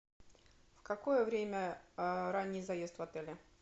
в какое время ранний заезд в отеле